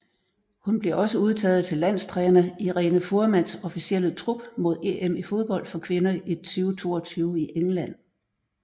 Hun blev også udtaget til landstræner Irene Fuhrmanns officielle trup mod EM i fodbold for kvinder 2022 i England